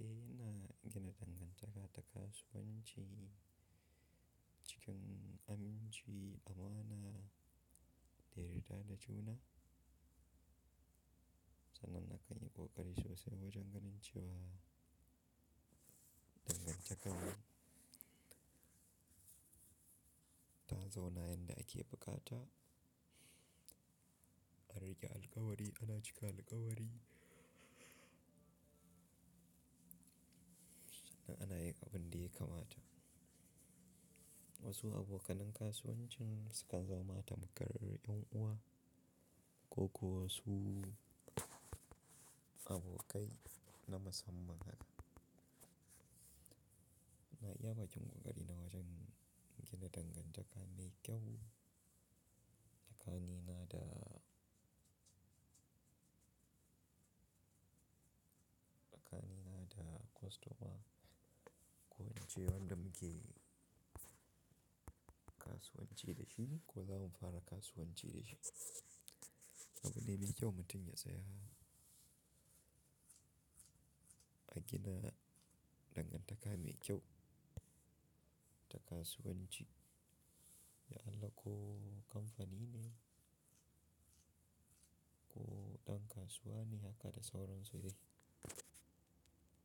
Eh ina gina dangantaka ta kasuwanci cikin aminci, amana, da yarda da juna. Sannan na kan yi ƙoƙari sosai wajen ganin cewa dangantakar mu ta zauna yadda ake bukata. An riƙe alkawari, ana cika alkawari sannan ana yin abin da ya kamata. Wasu abokanen kasuwancin su kan zama tamkar ƴan uwa ko kuwa su abokai na musamman haka. Ina iya baƙin ƙoƙari na wajen gina dangantaka mai kyau tsakani na da, tsakani na da kostoma ko ince wanda muke kasuwanci da shi ko za mu fara kasuwanci da shi. Abu ne mai kyau mutum ya tsaya a gina dangantaka mai kyau ta kasuwanci da Allah ko kamfanin ne ko ɗan kasuwa ne haka da sauran su dai.